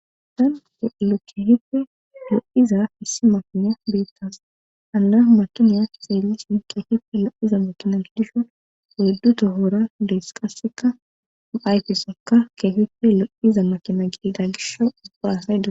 Han do'lokihifi do'iza hissi makiniya beettas ana makiniya xeelishin keefife lo'iza makina dishon ohddu tohora dees qasseka ayfesekka keefife lo'iza makina giida gisho ubba asay da.